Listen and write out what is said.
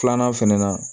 Filanan fɛnɛ na